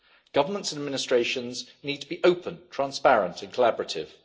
Governments and administrations need to be open, transparent and collaborative.